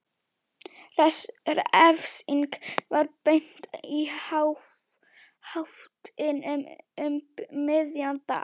Refsingin var beint í háttinn um miðjan dag.